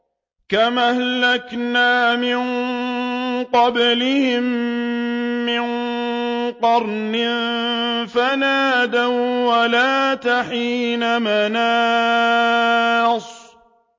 كَمْ أَهْلَكْنَا مِن قَبْلِهِم مِّن قَرْنٍ فَنَادَوا وَّلَاتَ حِينَ مَنَاصٍ